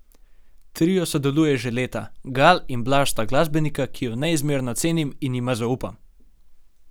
Trio sodeluje že leta: 'Gal in Blaž sta glasbenika, ki ju neizmerno cenim in jima zaupam.